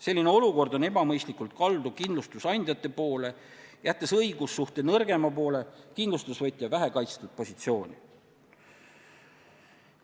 Selline olukord on ebamõistlikult kaldu kindlustusandjate poole, jättes õigussuhte nõrgema poole ehk kindlustusvõtja vähekaitstud positsiooni.